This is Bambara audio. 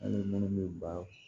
Hali minnu bɛ ba